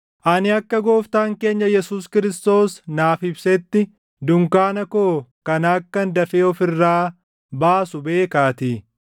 ani akka Gooftaan keenya Yesuus Kiristoos naaf ibsetti, dunkaana koo kana akkan dafee of irraa baasu beekaatii.